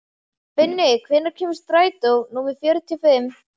Binni, hvenær kemur strætó númer fjörutíu og fimm?